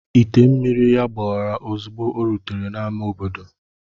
Ite mmiri ya gbawara ozugbo o rutere n'ámá obodo.